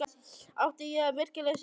Átti ég virkilega að setjast í stólinn?